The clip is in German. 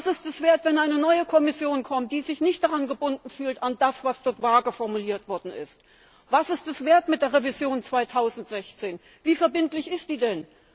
Was ist es wert, wenn eine neue Kommission kommt, die sich nicht an das gebunden fühlt, was dort vage formuliert worden ist? Was ist mit der Revision 2016? Wie verbindlich ist die denn?